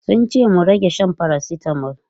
Sun ce mu rage shan paracetamol.